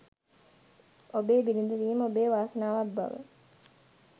ඔබේ බිරිඳ වීම ඔබේ වාසනාවක් බව